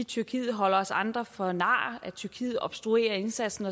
tyrkiet holder os andre for nar at tyrkiet obstruerer indsatsen